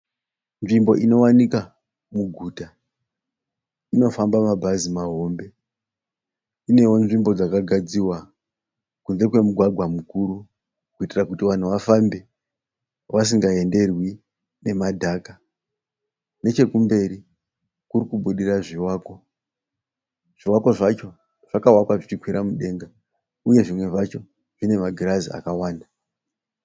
Nzvimbo inowanika muguta. Inofamba mabhazi mahombe. Inewo nzvimbo dzakagadzirwa kunze kwemugwagwa mukuru kuitira kuti vanhu vafambe vasingaenderwi nemadhaka. Nechekumberi kuri kubudira zvivakwa. Zvivakwa zvacho zvakavakwa zvichikwira mudenga uye zvimwe zvacho zvine magirazi akawanda.